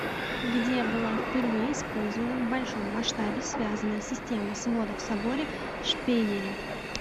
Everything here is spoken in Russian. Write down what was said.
где была впервые использована в большом масштабе связанная система сводов в соборе в шпейере